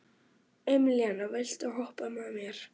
Emelíana, viltu hoppa með mér?